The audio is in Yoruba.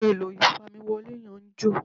ohun èlò ìfamiwọlé yẹn ń jò